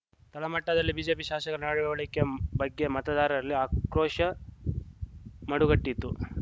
ತಳಮಟ್ಟದಲ್ಲಿ BJP ಶಾಸಕರ ನಡವಳಿಕೆ ಬಗ್ಗೆ ಮತದಾರರಲ್ಲಿ ಆಕ್ರೋಶ ಮಡುಗಟ್ಟಿತ್ತು